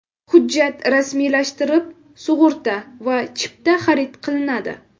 Hujjat rasmiylashtirib, sug‘urta va chipta xarid qilinadi.